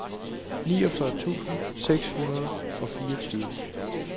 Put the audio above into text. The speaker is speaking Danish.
niogfyrre tusind seks hundrede og fireogtyve